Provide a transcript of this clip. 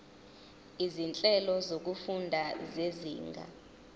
izinhlelo zokufunda zezinga